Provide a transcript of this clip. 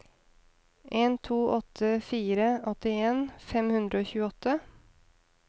en to åtte fire åttien fem hundre og tjueåtte